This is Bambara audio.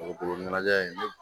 Dugukolo ɲɛnajɛ in